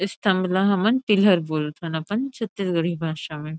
स्तम्भ ला हमन पिलर बोलथन अपन छत्तीसगढ़ी भाषा में।